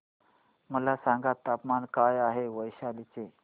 मला सांगा तापमान काय आहे वैशाली चे